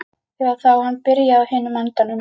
Eða þá hann byrjaði á hinum endanum.